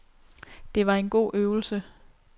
Det var en god øvelse.